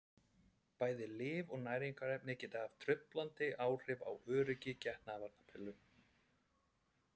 bæði lyf og næringarefni geta haft truflandi áhrif á öryggi getnaðarvarnarpilla